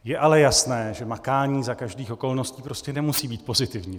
Je ale jasné, že makání za každých okolností prostě nemusí být pozitivní.